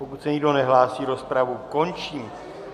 Pokud se nikdo nehlásí, rozpravu končím.